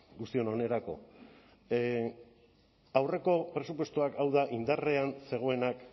guztion onerako aurreko presupuestoak hau da indarrean zegoenak